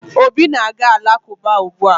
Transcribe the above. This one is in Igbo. Obi na-aga ụlọ Alakụba ugbua